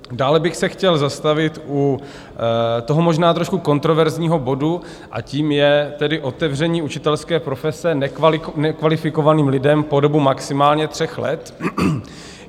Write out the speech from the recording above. Dále bych se chtěl zastavit u toho možná trošku kontroverzního bodu a tím je tedy otevření učitelské profese nekvalifikovaným lidem po dobu maximálně tří let.